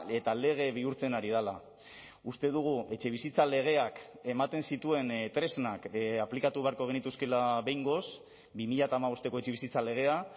eta lege bihurtzen ari dela uste dugu etxebizitza legeak ematen zituen tresnak aplikatu beharko genituzkeela behingoz bi mila hamabosteko etxebizitza legea